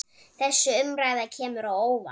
Þessi umræða kemur á óvart.